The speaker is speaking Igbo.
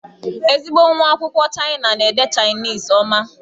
Ezigbo nwa akwụkwọ Chịana na-ede Chainisi ọma.